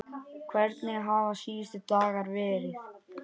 Hvernig hafa síðustu dagar verið?